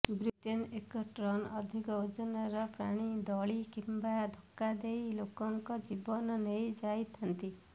ବ୍ରିଟେନ୍ରେ ଏକ ଟନ୍ରୁ ଅଧିକ ଓଜନର ପ୍ରାଣୀ ଦଳି କିମ୍ବା ଧକ୍କା ଦେଇ ଲୋକଙ୍କ ଜୀବନ ନେଇଯାଇଥାନ୍ତି